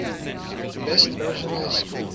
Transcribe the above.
best original score